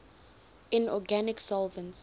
inorganic solvents